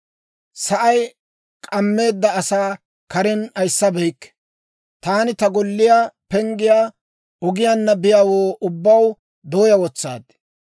Sa'ay k'ammeedda asaa karen ayissabeykke; taani ta golliyaa penggiyaa ogiyaanna biyaawoo ubbaw dooyaa wotsaad.